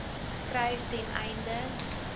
skryf ten einde